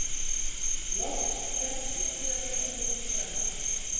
Loks keppt í skíðastökki kvenna